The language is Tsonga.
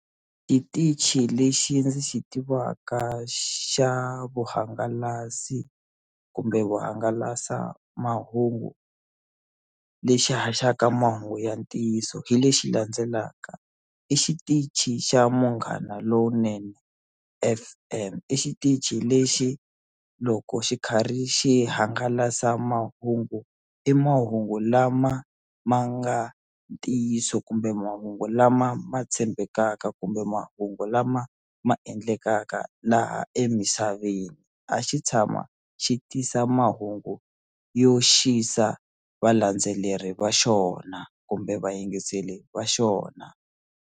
Xitichi lexi ndzi xi tivaka xa vuhangalasi kumbe vahangalasamahungu lexi haxaka mahungu ya ntiyiso hi lexi landzelaka i xitichi xa Munghana Lonene F_M i xitichi lexi loko xi karhi xi swihangalasamahungu i mahungu lama ma nga ntiyiso kumbe mahungu lama ma tshembekaka kumbe mahungu lama ma endlekaka laha emisaveni a xi tshama xi tisa mahungu yo xisa valandzeleri va xona kumbe vayingiseli va xona.